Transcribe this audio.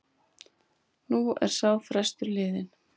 Nú er sá frestur liðinn.